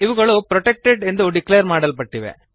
ಇವುಗಳು ಪ್ರೊಟೆಕ್ಟೆಡ್ ಎಂದು ಡಿಕ್ಲೇರ್ ಮಾಡಲ್ಪಟ್ಟಿವೆ